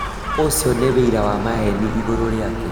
Ūcio nĩ ũira wa maheeni igũrũ rĩake